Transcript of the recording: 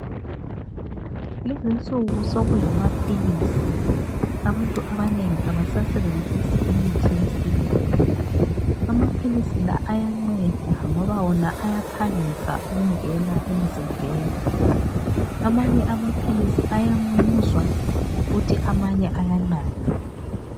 Lezi nsuku, sokulamaphilisi, abantu abanengi abasasebenzisi imithi yesintu. Amaphilisi wona ayanceda ngoba wona ayaphangisa ukungena emzimbeni. Amanye amaphilisi ayamumuzwa, kuthi amanye ayanathwa.